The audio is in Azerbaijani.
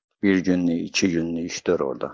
Bir günlük, iki günlük iş tör orda.